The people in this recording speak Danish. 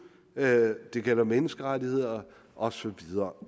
det gælder menneskerettigheder og så videre